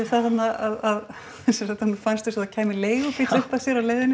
að honum fannst eins og það kæmi leigubíll upp að sér á leiðinni